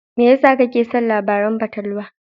Me yasa kake son labaran fatalwa?